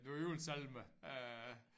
Nogle julesalmer øh